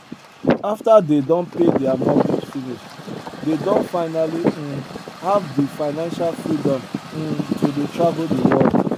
after dey don pay their mortgage finish dey don finally um have de financial freedom um to dey travel de world